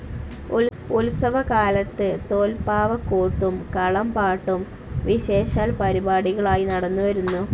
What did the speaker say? ഉത്സവകാലത്ത് തോൽപ്പാവക്കൂത്തും കളം പാട്ടും വിശേഷാൽ പരിപാടികളായി നടന്നുവരുന്നു.